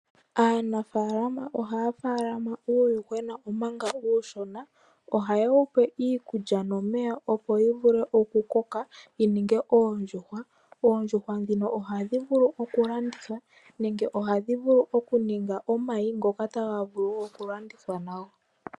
Aanafaalama ohaya tekula uuyuhwena omanga uushona. Ohaye wupe iikulya nomeya opo wuvule okukoka wuninge oondjuhwa tadhivulu okulandithwa. Ohadhi vulu oku vala omayi ngoka taga vulu okulandithwa nago.